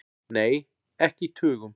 Nei, ekki í tugum.